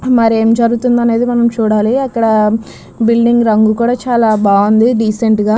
మరేం జరుగుతుందో అనేది చూడాలి అక్కడ బిల్డింగ్ రంగు కూడా చాలా బాగుంది డీసెంట్ గా.